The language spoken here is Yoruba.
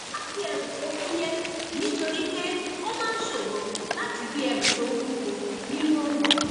a gbé ẹrù tó fúyẹ nítorí pé ó máa ń ṣòro láti gbé ẹrù tó wúwo nínú oòrùn